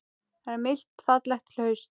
Það er milt fallegt haust.